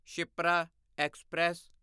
Shipra express